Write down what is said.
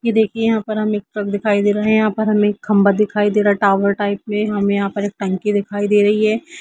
यह देखिए यहाँ पर हमें एक ट्रक दिखाई दे रहा है यहाँ पर हमें एक खम्बा दिखाई दे रहा है टावर टाइप में हमें यहाँ पर एक टंकी दिखाई दे रही है